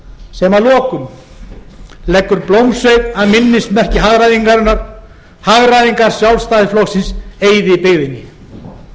sem að lokum leggur blómsveig að minnismerki hagræðingarinnar hagræðingar sjálfstæðisflokksins eyðibyggðinni ég spyr ykkur samfylkingarfólk